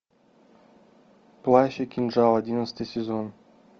плащ и кинжал одиннадцатый сезон